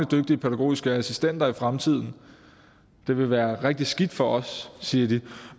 dygtige pædagogiske assistenter i fremtiden det vil være rigtig skidt for os siger de